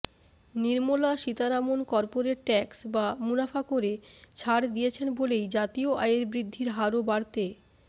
Nirmala Sitharaman corporate tax বা মুনাফা করে ছাড় দিয়েছেন বলেই জাতীয় আয়ের বৃদ্ধির হারও বাড়তে